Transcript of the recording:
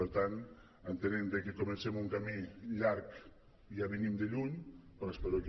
per tant entenem que comencem un camí llarg i ja venim de lluny però espero que